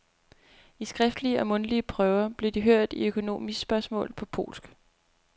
I skriftlige og mundtlige prøver blev de hørt i økonomispørgsmål, på polsk.